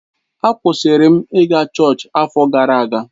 A kwụsịrị m ị ga chọọchị afọ gara aga.